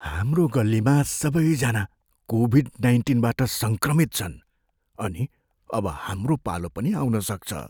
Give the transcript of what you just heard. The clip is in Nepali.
हाम्रो गल्लीमा सबैजना कोभिड नाइन्टिनबाट सङ्क्रमित छन् अनि अब हाम्रो पालो पनि आउन सक्छ।